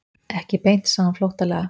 Ekki beint, sagði hún flóttalega.